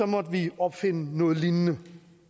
måtte vi opfinde noget lignende